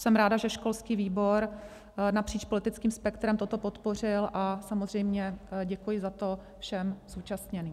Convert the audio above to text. Jsem ráda, že školský výbor napříč politickým spektrem toto podpořil, a samozřejmě děkuji za to všem zúčastněným.